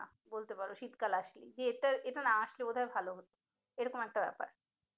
বলতে পারো শীতকাল আসলেই এইটা না আসলে বোধহয় ভালো হতো এরকম একটা ব্যাপার